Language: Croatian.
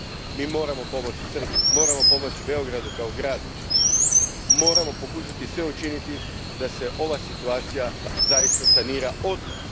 Mi moramo pomoći Srbiji, moramo pomoći Beogradu kao gradu. Moramo pokušati sve učiniti da se ova situacija zaista sanira odmah.